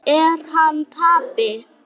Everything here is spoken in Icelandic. Er hann tappi?